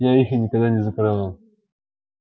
я их и никогда не закрывал